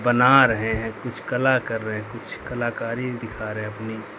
बना रहे हैं कुछ कला कर रहे कुछ कलाकारी दिखा रहे अपनी--